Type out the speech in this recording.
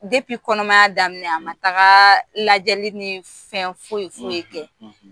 kɔnɔmaya daminɛ a ma taga lajɛli ni fɛn foyi foyi kɛ